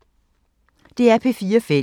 DR P4 Fælles